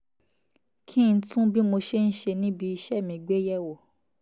kí n tún bí mo ṣe ń ṣe níbi iṣẹ́ mi gbé yẹ̀ wò